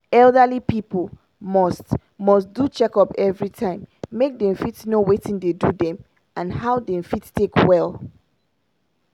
elderly pipu must must do checkup everytime make dem fit know watin dey do dem and how dem fit take quick well.